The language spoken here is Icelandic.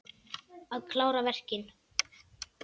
Að klára verkin.